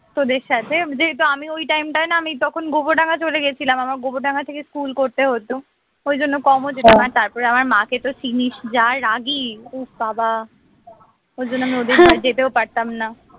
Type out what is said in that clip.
তোদের সাথে যেহেতু আমি ওই time টায় না আমি তখন গোবরডাঙ্গা চলে গেছিলাম আমার গোবরডাঙ্গা থেকে স্কুল করতে হত ওই জন্য কমও যেতাম আর তারপরে আমার মাকে তো চিনিস যা রাগী উফ্ বাবা ওর জন্য আমরা ওদিকে যেতেও পারতাম না